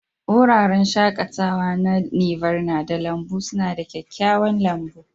Wuraren shakatawa na Nirvana da lambun suna da kyakkyawan lambun.